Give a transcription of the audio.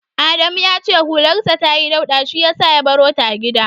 Adamu ya ce hularsa tayi dauɗa shi yasa ya barota a gida.